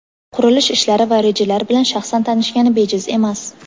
qurilish ishlari va rejalar bilan shaxsan tanishgani bejiz emas.